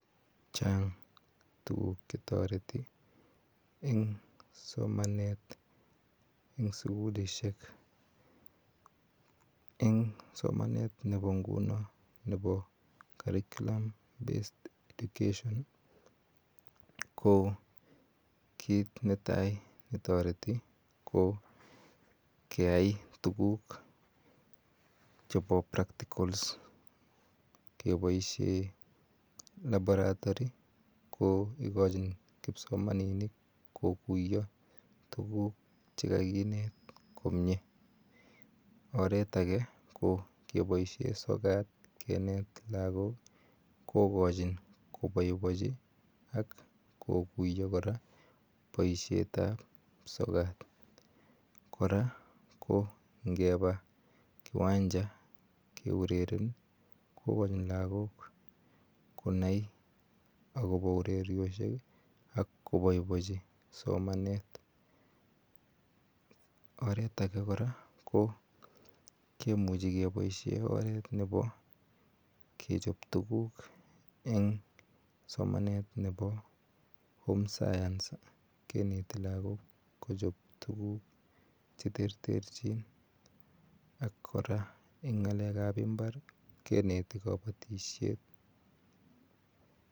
Chang tuguk chetoreti en somanet en sugulishek en somanet nebo ngunon nebo [cs[ curriculum based education kokit netai netoreti keai tuguk chebo practicals keboishen laboratory neikojin kipsomaninik kokuyo tuguk chekakinet komie, oret ake kokiboishen sokat kinet lagok kokochin koboibochi kokuyo koraa boishetab sokat, koraa ko ingepa kiwanja keureren kokochin lagok konai akobo urerioshek ak koboiboechin somanet, oret ake koraa kimuche keboishen oret nebo kechop tuguk en somanet nebo home science kineti lagok kochop tuguk cheterterjin ak joraa en ngalekab imbar kineti kobotishet.